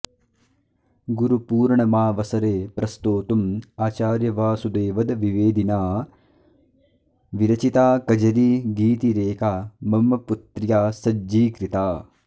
गुरुपूर्णमावसरे प्रस्तोतुम् आचार्य वासुदेवद्विवेदिना विरचिता कजरीगीतिरेका मम पुत्र्या सज्जीकृता